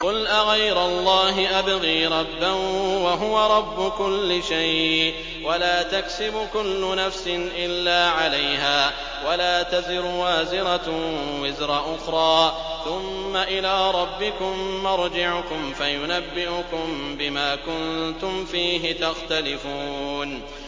قُلْ أَغَيْرَ اللَّهِ أَبْغِي رَبًّا وَهُوَ رَبُّ كُلِّ شَيْءٍ ۚ وَلَا تَكْسِبُ كُلُّ نَفْسٍ إِلَّا عَلَيْهَا ۚ وَلَا تَزِرُ وَازِرَةٌ وِزْرَ أُخْرَىٰ ۚ ثُمَّ إِلَىٰ رَبِّكُم مَّرْجِعُكُمْ فَيُنَبِّئُكُم بِمَا كُنتُمْ فِيهِ تَخْتَلِفُونَ